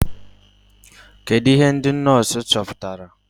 Kedụ ihe ndị nọọsụ chọpụtara?